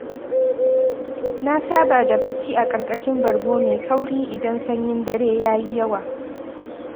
Na saba da bacci a ƙarƙashin bargo mai kauri idan sanyin dare ya yi yawa.